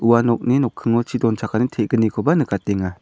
ua nokni nokkingo chi donchakani te·gnikoba nikatenga.